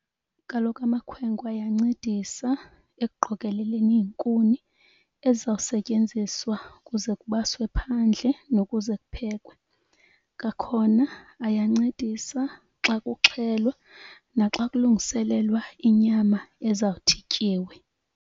Kaloku amakhwenkwe ayancedisa ekuqokeleleni iinkuni ezizawusetyenziswa kuze kubaswe phandle nokuze kuphekwe. Kwakhona ayancedisa xa kuxhelwa naxa kulungiselelwa inyama ezawuthi ityiwe.